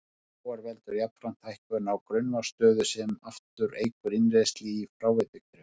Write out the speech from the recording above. Hækkun sjávar veldur jafnframt hækkun á grunnvatnsstöðu sem aftur eykur innrennsli í fráveitukerfi.